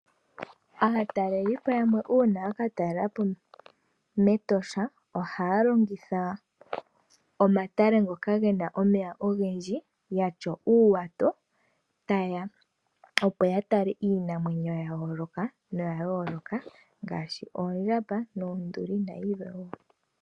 Aatalelipo yamwe uuna yaka talelapo metosha ohaya longitha omatale ngoka gena omeya ogendji, yatya uuwato opo ya tale iinamwenyo ya yooloka ngaashi oondjamba, noonduli nayilwe woo.